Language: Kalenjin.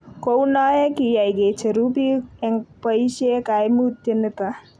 kou noe kiyai ke cheru biik eng' boisie kaimutie nito